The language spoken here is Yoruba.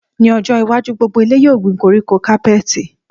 Ní ọjọ́ iwájú, gbogbo ilé yóò gbin koríko kápẹẹtì